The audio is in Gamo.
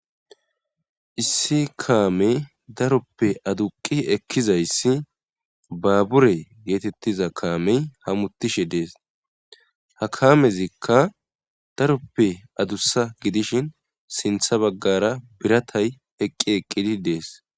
Issi kaamey daroppe aduqi ekizayssi baabure geetettiza kaamey hamutishe dees ha kaamezikka daroppe adussa gidishin sintha baggara biratay eqqi eqqidi dees